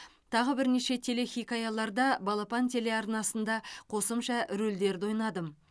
тағы бірнеше телехикаяларда балапан телеарнасында қосымша рөлдерді ойнадым